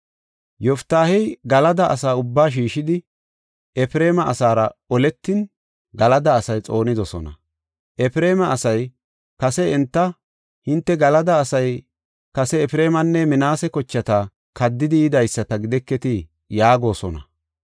Yoftaahey Galada asa ubbaa shiishidi, Efreema asaara oletin Galada asay xoonidosona. Efreema asay kase enta, “Hinte Galada asay kase Efreemanne Minaase kochata kaddidi yidaysata gideketii?” yaagosona.